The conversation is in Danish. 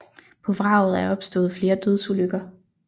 På vraget er opstået flere dødsulykker